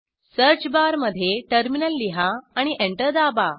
search बारमध्ये terminal लिहा आणि एंटर दाबा